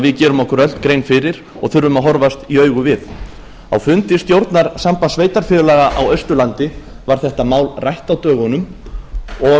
við gerum okkur öll grein fyrir og þurfum að horfast í augu við á fundi stjórnar sambands sveitarfélaga á austurlandi var þetta mál rætt á dögunum og